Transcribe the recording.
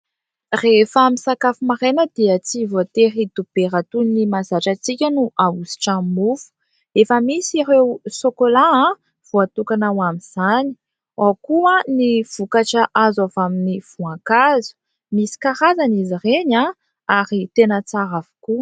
Rehefa misakafo maraina dia tsy voatery dobera toy ny mazatra antsika no ahositra amin'ny mofo. Efa misy ireo sokola voatokana ho amin'izany ; ao koa ny vokatra azo avy amin'ny voan-kazo, misy karazany izy reny ary tena tsara avokoa.